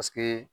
Paseke